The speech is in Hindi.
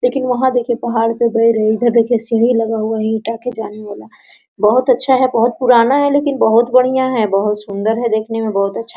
लेकिन वहाँ देखिये पहाड़ पर बेर है इधर देखिए ईटा का सीढ़ी है जाली वाला बहुत अच्छा है बहुत पुराना है लेकिन बहुत बढियाँ है बहुत सुंदर है बहुत अच्छा है।